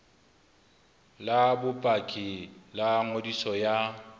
la bopaki la ngodiso ya